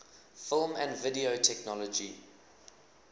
film and video technology